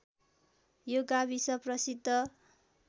यो गाविस प्रसिद्ध